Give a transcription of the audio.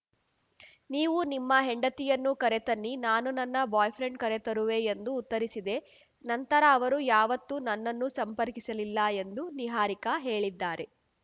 ನೀವು ನಿಮ್ಮ ಹೆಂಡತಿಯನ್ನು ಕರೆತನ್ನಿ ನಾನು ನನ್ನ ಬಾಯ್‌ಫ್ರೆಂಡ್‌ ಕರೆತರುವೆ ಎಂದು ಉತ್ತರಿಸಿದೆ ನಂತರ ಅವರು ಯಾವತ್ತೂ ನನ್ನನ್ನು ಸಂಪರ್ಕಿಸಲಿಲ್ಲ ಎಂದು ನಿಹಾರಿಕಾ ಹೇಳಿದ್ದಾರೆ